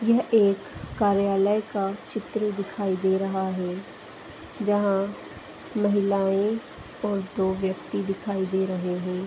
यह एक कार्यालय का चित्र दिखाई दे रहा है जहां महिलाएं और दो व्यक्ति दिखाई दे रहे हैं।